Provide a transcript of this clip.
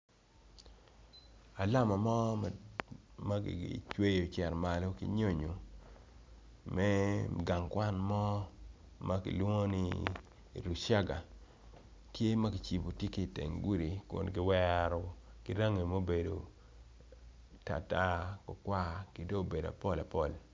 Alama mo ma kicweyo ocito malo ki nyoyo me gang kwan mo makilwongo ni luciaga tye ma kicibo tye ki teng gudi kun kiwero ki rangi maobedo kwar tartar ki dong obedo apol apol.